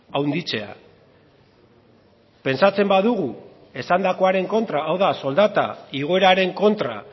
handitzea pentsatzen badugu esandakoaren kontra hau da soldata igoeraren kontra